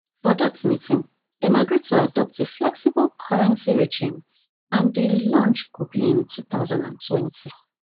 for dat meeting dem agree to adopt a flexible currency regime and di launch go be in two thousand and twenty